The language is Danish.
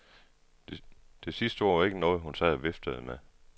Det sidste ord var ikke noget, hun sad og viftede med.